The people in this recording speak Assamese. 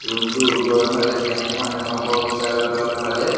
ৰুম টোৰ ওপৰৰ ফালে ফেন এখন দেখা পোৱা গৈছে আৰু তল ফালে--